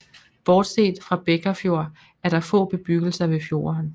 Bortset fra Bekkarfjord er der få bebyggelser ved fjorden